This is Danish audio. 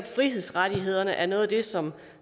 frihedsrettigheder er noget af det som